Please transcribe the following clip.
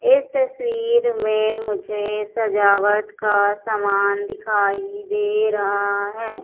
इस तस्वीर में मुझे सजावट का सामान दिखाई दे रहा है।